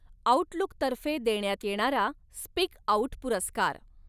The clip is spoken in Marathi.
आऊटलूक'तर्फे देण्यात येणारा 'स्पीक आऊट पुरस्कार